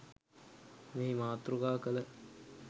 මෙහි මාතෘකා කළ